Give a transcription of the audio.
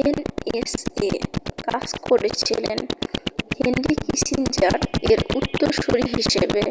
NSA কাজ করেছিলেন Henry Kissinger এর উত্তরসূরী হিসেবে।